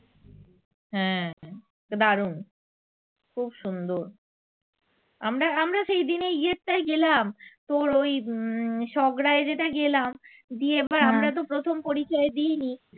হ্যা দারুন খুব সুন্দর আমরা আমরা সেইদিন ইয়েরটায় গেলাম তোর ওই উম সগড়ায় যেটা গেলাম গিয়ে তো আমরাতো প্রথম পরিচয় দেয়নি